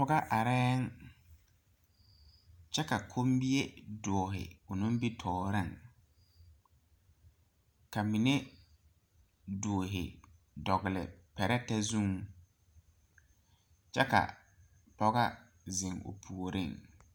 Pɔgega areyɛ, kyɛ ka komiɛ doro doro biŋ o nimitɔɔre ka mine doro dogle pɛretɛ zuŋ, kyɛ ka pɔgega zeŋ o puori.